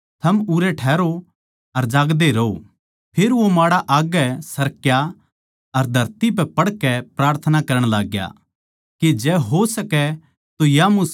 फेर वो माड़ा आग्गै सरक्या अर धरती पै पड़कै प्रार्थना करण लाग्या के जै हो सकै तो या मुसीबत की घड़ी मेरै पै तै टळ जावै